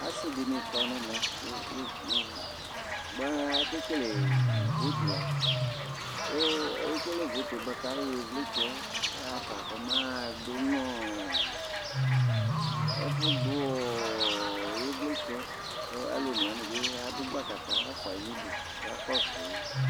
asi di ni kɔ n'ɛmɛ kpe kpe kpe boa anɛ k'ake kele votu la ekele votu yɛ boa k'ayɔ ivlitsɛ yɛ ya fa kɔma du no ɛfu du ivlitsɛ k'alò one wani bi adu gbaka k'afua yi n'udu k'aka kɔsu yi